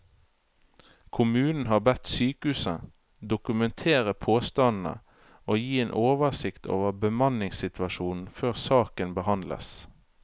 Kommunen har bedt sykehuset dokumentere påstandene og gi en oversikt over bemanningssituasjonen før saken behandles.